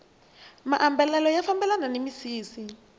maambalelo ya fambelana ni misisi